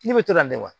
Ne bɛ to ka ne wa